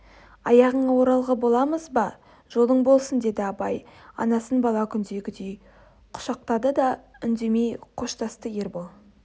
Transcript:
аяғыңа оралғы боламыз ба жолың болсын деді абай анасын бала күндегідей құшақтады да үндемей қоштасты ербол